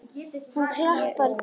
Hann klappar á dýnuna.